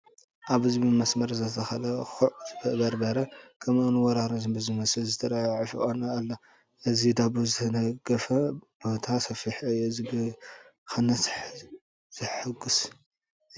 ኣብዚ ብመስመር ዝተተኸለ ጉዕ በርበረ ከምኡውን ዋህራር ብዝመስል ዝተዘአ ዑፉን ኣሎ፡፡ እዚ ባዶ ዝተገደፈ ቦታ ሰፊሕ እዩ፡፡ እዚ ብኽነት ዘጉሕይ እዩ፡፡